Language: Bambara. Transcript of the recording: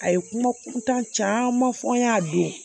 A ye kuma kuntan caman fɔ n ɲ'a don